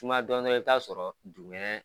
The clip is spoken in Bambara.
Sumaya dɔɔnin dɔrɔn i y'a sɔrɔ dugumɛnɛ